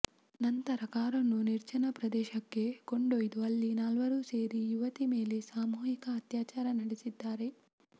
ನಂತರಕಾರನ್ನು ನಿರ್ಜನ ಪ್ರದೇಶಕ್ಕೆಕೊಂಡೊಯ್ದುಅಲ್ಲಿ ನಾಲ್ವರೂ ಸೇರಿಯುವತಿ ಮೇಲೆ ಸಾಮೂಹಿಕವಾಗಿ ಅತ್ಯಾಚಾರ ನಡೆಸಿದ್ದಾರೆ